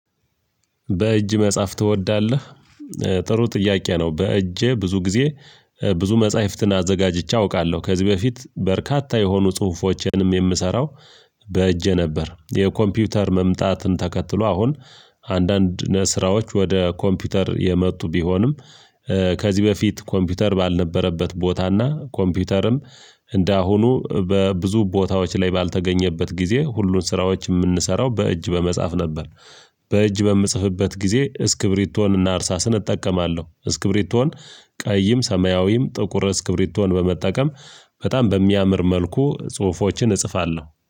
በእጅ መጻፍ ትወዳለህ? ጥሩ ጥያቄ ነው በእጄ ብዙ ጊዜ ብዙ መፃሄፍትን አዘጋጅቼ አውቃለሁ ከዚህ በፊት በርካታ የሆኑ ጽሁፎችንም የምሰራው። በእጄ ነበር የኮምፒውተር መምጣትን ተከትሎ አሁን አንዳንድ ነ ስራዎች ወደ ኮምፒውተር የመጡ ቢሆንም ከዚህ በፊት ኮምፒውተር ባልነበረበት ቦታና ኮምፒውተርም እንደአሁኑ በብዙ ቦታዎች ላይ ባልተገኘበት ጊዜ ሁሉን ስራዎች የምንሰራው በእጅ በመጻፍ ነበር። በእጅ በምጽፍበት ጊዜ እስክብሪቶንና እርሳስን እጠቀማለሁ እስክብሪቶን ቀይም ሰማያዊም ጥቁር እስክብሪቶን በመጠቀም በጣም በሚያምር መልኩ ጽሁፎችን እጽፋለሁ